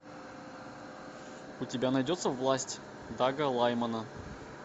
у тебя найдется власть дага лаймана